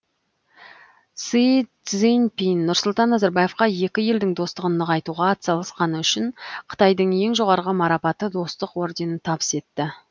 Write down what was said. си цзиньпин нұрсұлтан назарбаевқа екі елдің достығын нығайтуға атсалысқаны үшін қытайдың ең жоғарғы марапаты достық орденін табыс етті